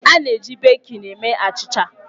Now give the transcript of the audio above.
A na-eji bekin eme achịcha.